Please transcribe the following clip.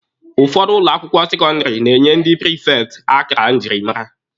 Ụfọdụ ụlọ akwụkwọ sekọndịrị na-enye ndị prifekti akara njirimara.